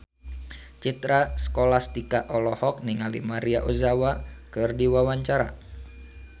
Citra Scholastika olohok ningali Maria Ozawa keur diwawancara